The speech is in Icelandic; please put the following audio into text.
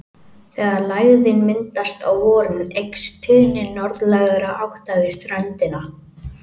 Þegar lægðin myndast á vorin eykst tíðni norðlægra átta við ströndina.